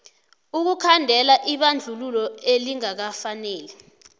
ukukhandela ibandlululo elingakafaneli